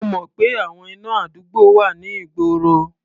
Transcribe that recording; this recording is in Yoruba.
Mo mọ̀ pé àwọn iná àdúgbò wà ní ìgboro.